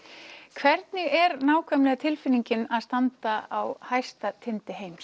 hvernig er nákvæmlega tilfinningin að standa á hæsta tindi heims